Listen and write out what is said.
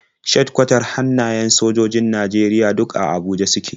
Shedikwatar hannayen sojojojin Najeriya duk a Abuja suke.